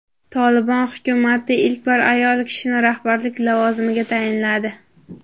"Tolibon" hukumati ilk bor ayol kishini rahbarlik lavozimiga tayinladi.